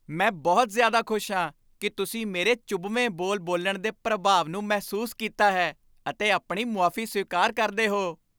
ਮੈਂ ਬਹੁਤ ਜ਼ਿਆਦਾ ਖੁਸ਼ ਹਾਂ ਕਿ ਤੁਸੀਂ ਮੇਰੇ ਚੁਭਵੇਂ ਬੋਲ ਬੋਲਣ ਦੇ ਪ੍ਰਭਾਵ ਨੂੰ ਮਹਿਸੂਸ ਕੀਤਾ ਹੈ ਅਤੇ ਆਪਣੀ ਮੁਆਫ਼ੀ ਸਵੀਕਾਰ ਕਰਦੇ ਹੋ।